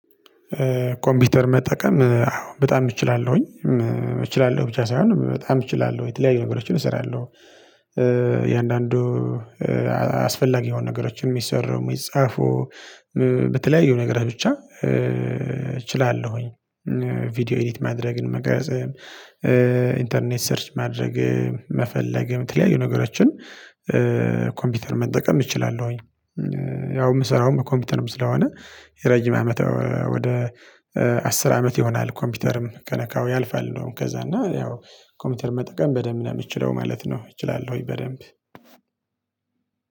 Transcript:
ኮምፒውተር መጠቀም አዎ በጣም እችላለሁኝ እችላለሁ ብቻ ሳይሆን በጣም እችላለሁ የተለያዩ ነገሮችን እሰራለሁ። እያንዳንዱ አስፈላጊ የሆኑ ነገሮችን የሚሰሩ የሚጻፉ በተለያዩ ነገር ብቻ እችላለሁኝ። ቪዲዮ ኤዲት ማድረግን መቅረጽ ኢንተርኔት ሰርች ማድረግ መፈለግ የምትለያዩ ነገሮችን ኮምፒውተር መጠቀም እችላለሁኝ። ያው የምሰራውም ኮምፒውተርም ስለሆነ የረጅም አመት ወደ አስር አመት ይሆናል ኮምፒውተርም ከነካው ያልፋል እንደውም ከዛ እና ያው ኮምፒውተር መጠቀም በደንብ ነው የምትችለው ማለት ነው። እችላለሁኝ በደንብ